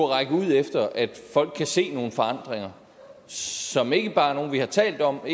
række ud efter at folk kan se nogle forandringer som ikke bare er nogle vi har talt om og